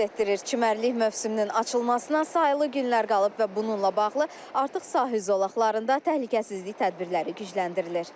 Çimərlik mövsümünün açılmasına sayılı günlər qalıb və bununla bağlı artıq sahil zolaqlarında təhlükəsizlik tədbirləri gücləndirilir.